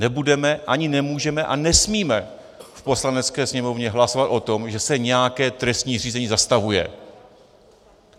Nebudeme, ani nemůžeme a nesmíme v Poslanecké sněmovně hlasovat o tom, že se nějaké trestní řízení zastavuje.